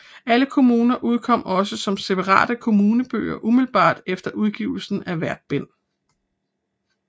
Alle kommuner udkom også som separate kommunebøger umiddelbart efter udgivelse af hvert bind